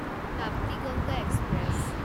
Tapti Ganga express